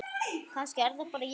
Kannski er það bara ég?